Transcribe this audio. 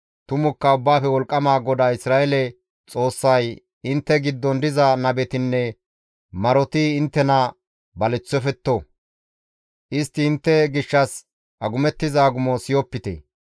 Tumukka Ubbaafe Wolqqama GODAA Isra7eele Xoossay, ‹Intte giddon diza nabetinne maroti inttena baleththofetto; istti intte gishshas agumettiza agumo siyopite.